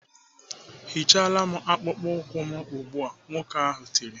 "Hichara m akpụkpọ ụkwụ m ugbu a!" Nwoke ahụ tiri.